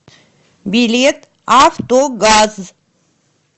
билет автогаз